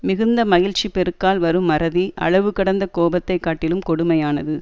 மிகுந்த மகிழ்ச்சிப் பெருக்கால் வரும் மறதி அளவு கடந்த கோபத்தை காட்டிலும் கொடுமையானது